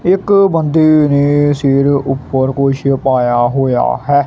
ਇੱਕ ਬੰਦੇ ਨੇ ਸਿਰ ਉਪਰ ਕੁਛ ਪਾਇਆ ਹੋਇਆ ਹੈ।